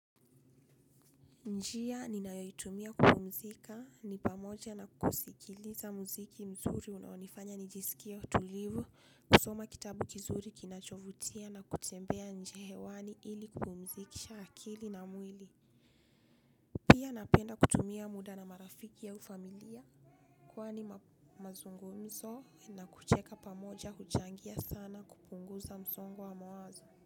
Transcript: Njia ninayoitumia kupumzika ni pamoja na kusikiliza mziki mzuri unaonifanya nijisikie tulivu kusoma kitabu kizuri kinachovutia na kutembea nje hewani ili kupumzikisha akili na mwili pia napenda kutumia muda na marafiki au familia kwani mazungumzo na kucheka pamoja huchangia sana kupunguza msongo wa mawazo.